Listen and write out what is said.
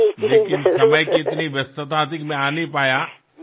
मात्र वेळ आणि काम यांचे प्रमाण इतकं व्यस्त होतं की मला येणं शक्य झालं नाही